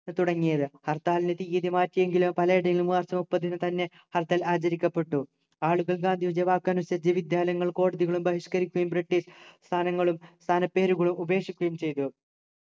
തുടങ്ങിയത് ഹർത്താലിൻ്റെ തീയ്യതി മാറ്റിയെങ്കിലും പലയിടങ്ങളിലും മാർച്ച് മുപ്പതിന് തന്നെ ഹർത്താൽ ആചരിക്കപ്പെട്ടു ആളുകൾ ഗാന്ധിജിയുടെ വാക്കനുസരിച്ചു വിദ്യാലയങ്ങളും കോടതികളും ബഹിഷ്കരിക്കുകയും british സ്ഥാനങ്ങളും സ്ഥാനപ്പേരുകളും ഉപേക്ഷിക്കുയും ചെയ്തു